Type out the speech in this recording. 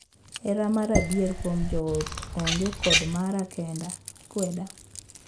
Hera mar adier kuom joot onge kod mara kenda (akweda).